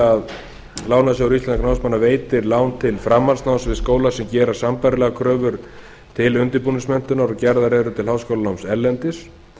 að lánasjóður íslenskra námsmanna veiti lán til framhaldsnáms við skólann sem gerir sambærilegar kröfur til undirbúningsmenntunar og gerðar eru til háskólanáms erlendis